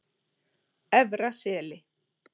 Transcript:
Efra Seli